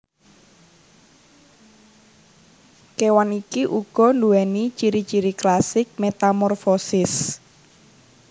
Kewan iki uga duwéni ciri ciri klasik metamorfosis